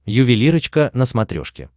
ювелирочка на смотрешке